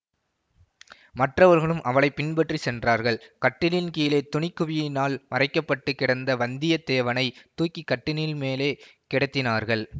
மற்றவர்களும் அவளை பின்பற்றிச் சென்றார்கள் கட்டிலின் கீழே துணி குவியினால் மறைக்கப்பட்டுக் கிடந்த வந்தியத்தேவனை தூக்கி கட்டினில் மேலே கிடத்தினார்கள்